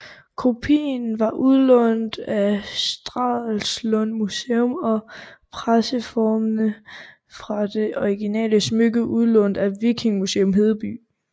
Kopien var udlånt af Stralsund Museum og presseformene fra det originale smykke udlånt af Vikingemuseum Hedeby